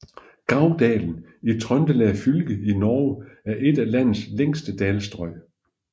Gauldalen i Trøndelag fylke i Norge er et af landets længste dalstrøg